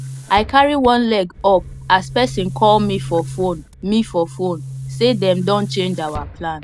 i carry one leg up as person call me for phone me for phone say dem don change our plan